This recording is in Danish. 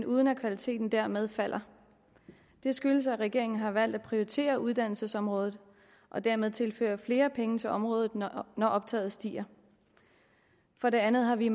uden at kvaliteten dermed falder det skyldes at regeringen har valgt at prioritere uddannelsesområdet og dermed tilføre flere penge til området når optaget stiger for det andet har vi